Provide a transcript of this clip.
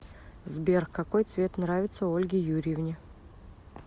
сбер какой цвет нравится ольге юрьевне